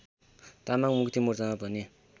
तामाङ मुक्तिमोर्चामा पनि